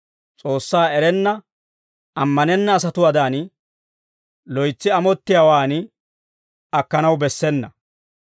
S'oossaa erenna ammanenna asatuwaadan, loytsi amottiyaawaan akkanaw bessena.